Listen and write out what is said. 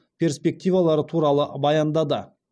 перспективалары туралы баяндады